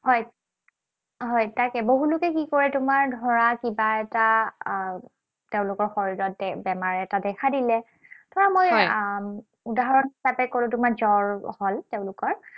হয়, হয়, তাকে বহুত লোকে কি কৰে, তোমাৰ ধৰা কিবা এটা আহ তেওঁলোকৰ শৰীৰত বেমাৰ এটা দেখা দিলে। ধৰা মই উদাহৰণ হিচাপে কলো তোমাৰ জ্বৰ হল তেওঁলোকৰ।